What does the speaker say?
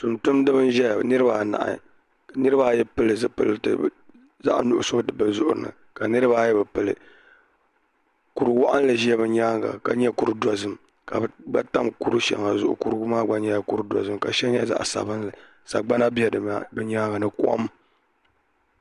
Tun tumdibɛ n zɛya niri ba anahi ka niribaa ayi pili zupiliti bɛ zuɣuni zaɣi nuɣuso ka niriba ayi bɛ pili kuru waɣinli ʒɛ bɛ nyaanŋa ka kuru dozim. ka bɛ tam kuri shɛŋa zuɣu kurigu maa gba nyɛla kuru do zim ka shɛli nyɛ zaɣ'sabinli ka bɛ bi nyaanŋa nikom